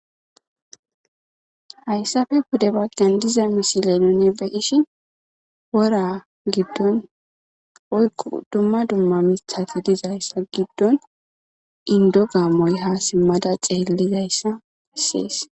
hayssafe kude baggen diza misile nune beyishi wora giddon oykqu dumma dumma mithati dizayssa giddon indo ga moyha simmada xeellizayssa assees